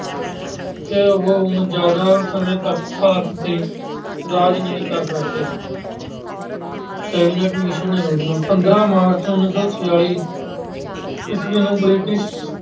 ਕਿ ਹੁਣ ਜਿਆਦਾ ਸਮੇਂ ਤੱਕ ਭਾਰਤ ਤੇ ਰਾਜ ਨਹੀਂ ਕਰ ਸਕਦੇ। Cabinet Mission ਯੋਜਨਾ- ਪੰਦਰਾਂ ਮਾਰਚ ਉਨੀ ਸੌ ਛਿਆਲੀ ਈਸਵੀ ਨੂੰ British